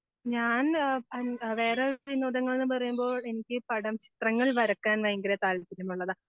ഞാന് ആ വേറെ വിനോദങ്ങൾ എന്നുപറയുമ്പോൾ എനിക്ക് പടം ചിത്രങ്ങൾ വരയ്ക്കാൻ ഭയങ്കര താല്പര്യമുള്ളതാ